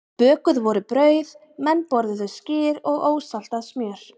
Bökuð voru brauð, menn borðuðu skyr og ósaltað smjör.